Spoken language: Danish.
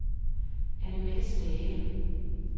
Annemette Stage